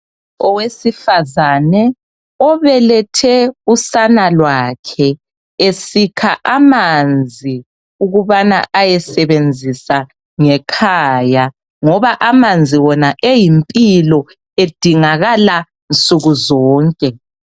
owesifazane obelethe usana lwakhe esikha amanzi ukubana ayengekhaya ngoba amanzi wona eyimpilo edingakala nsuku zonke.